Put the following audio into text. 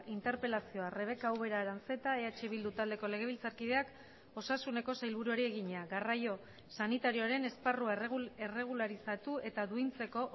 interpelazioa rebeka ubera aranzeta eh bildu taldeko legebiltzarkideak osasuneko sailburuari egina garraio sanitarioaren esparrua erregularizatu eta duintzeko